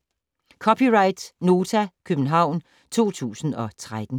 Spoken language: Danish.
(c) Nota, København 2013